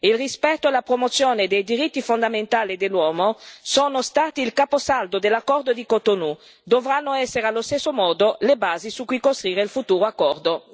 Il rispetto e la promozione dei diritti fondamentali dell'uomo sono stati il caposaldo dell'accordo di Cotonou e dovranno essere allo stesso modo le basi su cui costruire il futuro accordo.